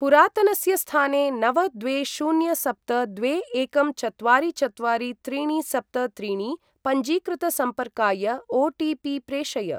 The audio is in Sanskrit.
पुरातनस्य स्थाने नव द्वे शून्य सप्त द्वे एकं चत्वारि चत्वारि त्रीणि सप्त त्रीणि पञ्जीकृतसम्पर्काय ओ.टी.पी. प्रेषय।